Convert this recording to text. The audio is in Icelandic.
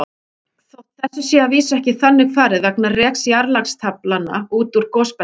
Þótt þessu sé að vísu ekki þannig farið vegna reks jarðlagastaflanna út úr gosbeltunum.